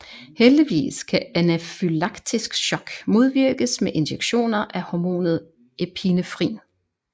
Heldigvis kan anafylaktisk shock modvirkes med injektioner af hormonet epinefrin